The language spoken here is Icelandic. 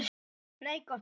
Nei, gott fólk.